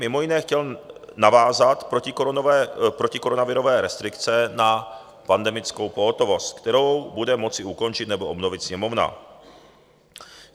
Mimo jiné chtěl navázat protikoronavirové restrikce na pandemickou pohotovost, kterou bude moci ukončit nebo obnovit Sněmovna.